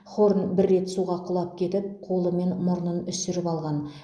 хорн бір рет суға құлап кетіп қолы мен мұрнын үсіріп алған